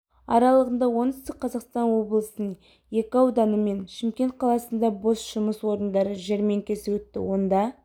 аралығында оңтүстік қазақстан облысының екі ауданы мен шымкент қаласында бос жұмыс орындары жәрмеңкесі өтті онда